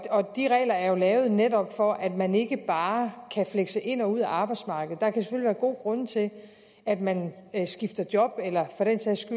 og de regler er jo lavet netop for at man ikke bare kan flekse ind og ud af arbejdsmarkedet der kan selvfølgelig være gode grunde til at man skifter job eller for den sags